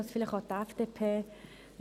Dies vielleicht zuhanden der FDP.